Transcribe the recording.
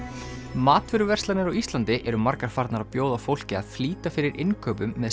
matvöruverslanir á Íslandi eru margar farnar að bjóða fólki að flýta fyrir innkaupum með